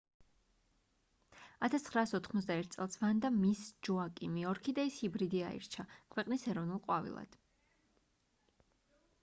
1981 წელს ვანდა მის ჯოაკიმი ორქიდეის ჰიბრიდი აირჩა ქვეყნის ეროვნულ ყვავილად